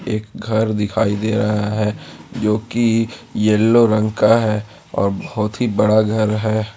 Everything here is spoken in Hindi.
एक घर दिखाई दे रहा है जोकी येलो रंग का है और बहुत ही बड़ा घर है।